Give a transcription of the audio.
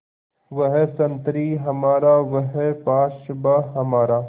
वह संतरी हमारा वह पासबाँ हमारा